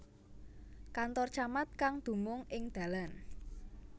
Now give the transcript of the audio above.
Kantor Camat kang dumung ing Dalan